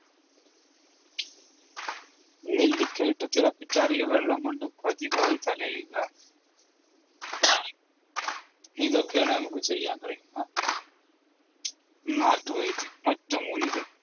നെല്ലിക്ക ഇട്ട് തിളപ്പിച്ചാറിയ വെള്ളം കൊണ്ട് പതിവായി തലയുക ഇതൊക്കെയാണ് നമുക്ക് ചെയ്യാൻ കഴിയുന്ന നാട്ടുവൈദ്യം, ഒറ്റമൂലികൾ.